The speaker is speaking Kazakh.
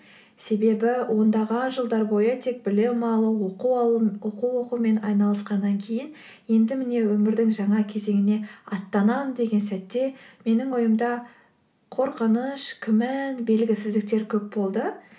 себебі ондаған жылдар бойы тек білім алу оқу оқумен айналысқаннан кейін енді міне өмірдің жаңа кезеңіне аттанам деген сәтте менің ойымда қорқыныш күмән белгісіздіктер көп болды